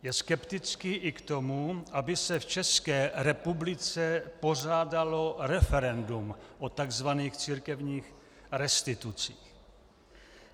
Je skeptický i k tomu, aby se v České republice pořádalo referendum o tzv. církevních restitucích.